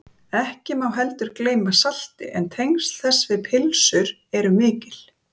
Ekki má heldur gleyma salti en tengsl þess við pylsur eru mikil.